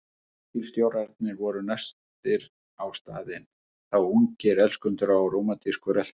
Leigubílstjórarnir voru næstir á staðinn, þá ungir elskendur á rómantísku rölti.